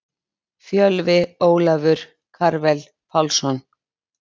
Fjölvi Ólafur Karvel Pálsson.